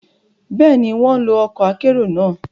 Béèni, wọn lo ọkọ akero náà